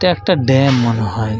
ইটা একটা দাম মনে হয় ।